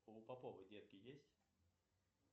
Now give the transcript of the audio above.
а у поповой детки есть